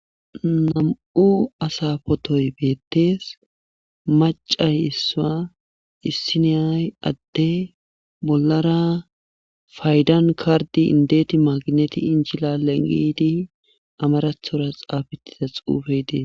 Nam7u asaa potoy beetees maccay issa issinaya adde bollara faydan karddi indeeti magineti inchilale giidi amarathora xaafettida xuufey dees.